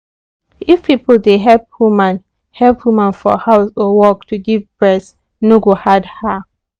if people dey help woman help woman for house or work to give breast no go hard her.